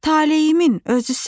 taleyimin özüsən.